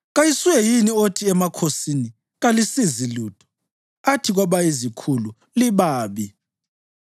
Kayisuye yini othi emakhosini, ‘Kalisizi lutho,’ athi kwabayizikhulu, ‘Libabi,’